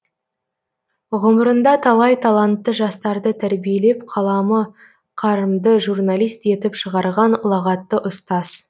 ғұмырында талай талантты жастарды тәрбиелеп қаламы қарымды журналист етіп шығарған ұлағатты ұстаз